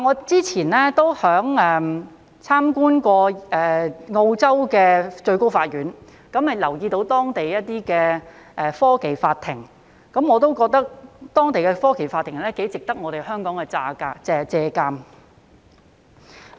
早前我曾參觀澳洲最高法院，留意到當地的科技法庭，我也覺得當地的科技法庭頗值得香港借鑒。